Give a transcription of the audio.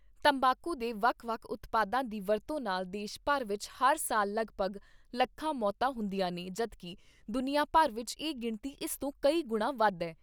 ਤੰਬਾਕੂ ਦੇ ਵੱਖ ਵੱਖ ਉਤਪਾਦਾਂ ਦੀ ਵਰਤੋਂ ਨਾਲ ਦੇਸ਼ ਭਰ ਵਿਚ ਹਰ ਸਾਲ ਲਗਭਗ ਲੱਖਾਂ ਮੌਤਾਂ ਹੁੰਦੀਆਂ ਨੇ ਜਦੋਂ ਕਿ ਦੁਨੀਆਂ ਭਰ ਵਿਚ ਇਹ ਗਿਣਤੀ ਇਸ ਤੋਂ ਕਈ ਗੁਣਾਂ ਵੱਧ ਏ।